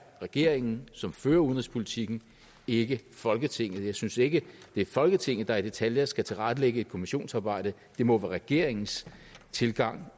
regeringen som fører udenrigspolitikken ikke folketinget jeg synes ikke det er folketinget der i detaljer skal tilrettelægge et kommissionsarbejde det må være regeringens tilgang